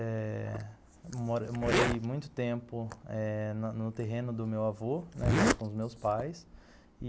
É...Mo morei muito tempo eh no no terreno do meu avô, junto com os meus pais e